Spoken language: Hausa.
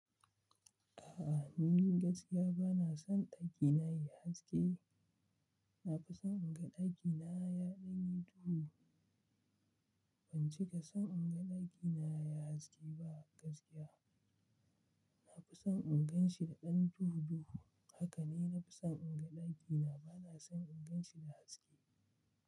A'a ni gaskiya bana son ɗakina yayi haske. Nafison inga ɗakina yaɗan yi tudu. Ban cika son inga ɗakina ya yi haske ba gaskiya. Nafison ingan shi da ɗan tudu. Haka ne nafison inga ɗakina bana son ingan shi da haske.